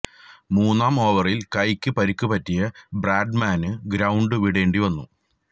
മൂന്നാം ഓവറിൽ കൈയ്ക്ക് പരിക്കു പറ്റിയ ബ്രാഡ്മാനു ഗ്രൌണ്ട് വിടേണ്ടി വന്നു